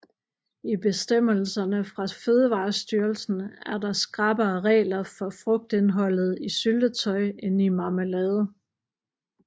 I bestemmelserne fra Fødevarestyrelsen er der skrappere regler for frugtindholdet i syltetøj end i marmelade